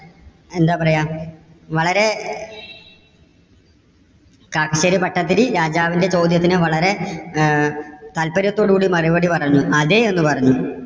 എന്താ പറയ വളരെ കാക്കശ്ശേരി ഭട്ടതിരി രാജാവിന്റെ ചോദ്യത്തിന് വളരെ ആഹ് താല്പര്യത്തോട് കൂടി മറുപടി പറഞ്ഞു. അതെ എന്ന് പറഞ്ഞു.